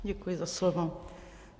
Děkuji za slovo.